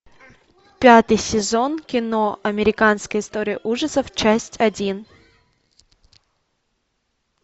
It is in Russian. пятый сезон кино американская история ужасов часть один